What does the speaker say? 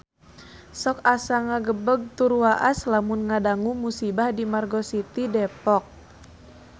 Sok asa ngagebeg tur waas lamun ngadangu musibah di Margo City Depok